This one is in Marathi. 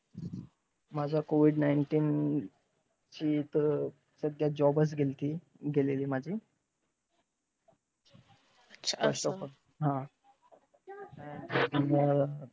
माझा COVID nineteen ची तर सध्या job च गेतली गेलेली माझी. अच्छा! हा!